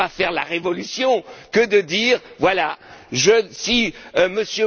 Ce n'est pas faire la révolution que de dire voilà, si